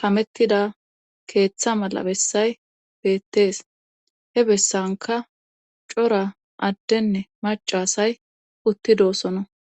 kamettida keeththa mala bessay beettees he bessanka cora addenne macasay uttidoosono.